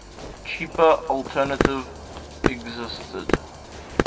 cheaper alternative existed